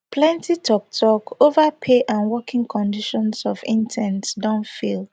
plenti toktok ova pay and working conditions of interns don fail